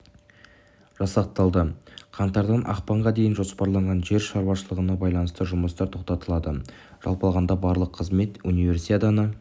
жасақталды қаңтардан ақпанға дейін жоспарланған жер шаруашылығына байланысты жұмыстар тоқтатылады жалпы алғанда барлық қызмет универсиаданы